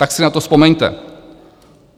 Tak si na to vzpomeňte!